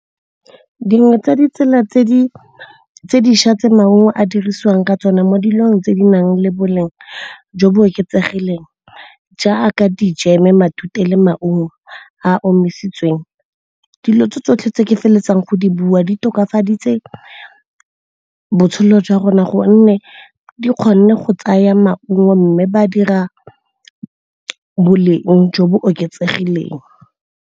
Dingwe tsa ditsela tse di dišwa tse maungo a dirisiwang ka tsone mo diponb tse di bang le boleng jo bo oketsegileng jaaka di-jam-e, matute le maungo a a omisitsweng. Dilo tse tsotlhe tse ke feleletsang go di bua di tokafaditse botshelo jwa rona gonne di kgonne go tsaya maungo mme ba dira boleng jo bo oketsegileng.